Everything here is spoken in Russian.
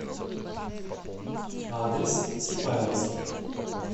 адрес сипайловский